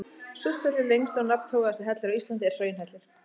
Surtshellir, lengsti og nafntogaðasti hellir á Íslandi, er hraunhellir.